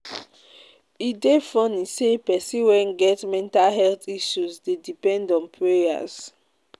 E dey funny sey pesin wey get mental health issue dey depend on prayers.